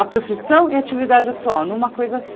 A profissão e a atividade atual, numa coisa.